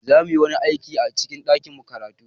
Za mu yi wani aiki a cikin ɗakin karatu.